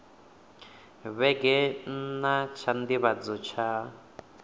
vhege nna tsha nḓivhadzo tsha